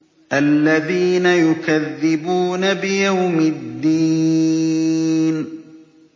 الَّذِينَ يُكَذِّبُونَ بِيَوْمِ الدِّينِ